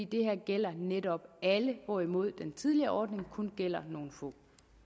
det her gælder netop alle hvorimod den tidligere ordning kun gælder nogle få